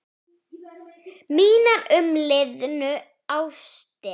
Mínar umliðnu ástir.